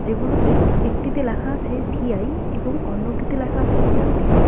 এগুলোতে একটিতে লেখা আছে ভি_আই এবং অন্যটিতে লেখা আছে এয়ারটেল ।